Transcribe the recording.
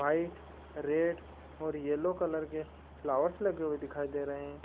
White red और yellow colour के flowers लगे हुए दिखाई दे रहे है।